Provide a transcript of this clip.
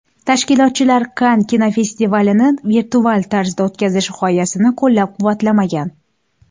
Tashkilotchilar Kann kinofestivalini virtual tarzda o‘tkazish g‘oyasini qo‘llab-quvvatlamagan .